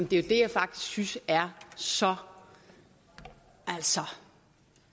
det er jo det jeg faktisk synes er så altså